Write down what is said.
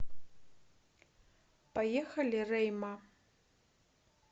поехали рейма